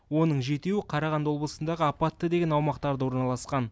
оның жетеуі қарағанды облысындағы апатты деген аумақтарда орналасқан